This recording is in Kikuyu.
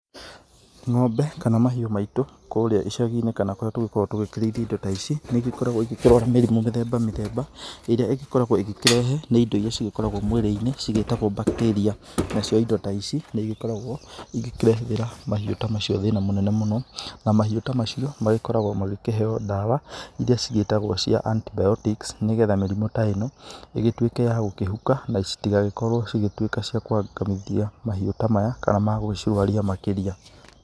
Ng'ombe kana mahiũ maitũ kũrĩa icagi-inĩ kana kũrĩa tũgĩkoragwo tũgĩkĩrĩithia indo ta ici nĩ igĩkoragwo ikĩrehe mĩrimũ mĩthemba mĩthemba ĩrĩa igĩkoragwo ĩgĩkĩrehwo nĩ indo irĩa cigĩkoragwo mwĩrĩ-inĩ cigĩtagwo bactaria, nacio indo ta ici nĩ igĩkoragwo ikĩrehera mahiũ ta macio thĩna mũnene mũno na mahiũ ta macio makoragwo makĩheo ndawa irĩa cigĩtagwo cia antibiotics nĩgetha mĩrimũ ta ĩno ĩgĩtuĩke ya gũkĩhuka na citigagĩkorwo cigĩtuĩke cia kũangamithia mahiũ ta maya kana cia kũmarũaria makĩria.